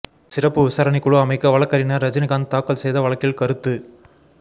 சிறப்பு விசாரணை குழு அமைக்க வழக்கறிஞர் ரஜினிகாந்த் தாக்கல் செய்த வழக்கில் கருத்து